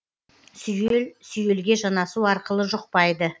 сүйел сүйелге жанасу арқылы жұқпайды